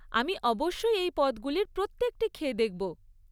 আমি অবশ্যই এই পদগুলির প্রত্যেকটি খেয়ে দেখব।